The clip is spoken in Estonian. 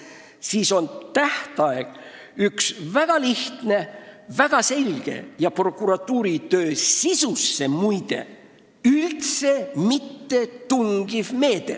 Seega on tähtaja kehtestamine üks väga lihtne, väga selge ja, muide, prokuratuuri töö sisusse üldse mitte tungiv meede.